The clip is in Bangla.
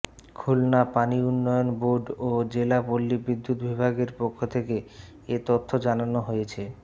খুলনা পানি উন্নয়ন বোর্ড ও জেলা পল্লী বিদ্যুৎ বিভাগের পক্ষ থেকে এ তথ্য জানানো হয়েছে